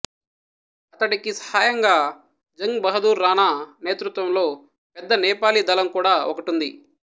అతడికి సహాయంగా జంగ్ బహదూర్ రాణా నేతృత్వంలో పెద్ద నేపాలీ దళం కూడా ఒకటుంది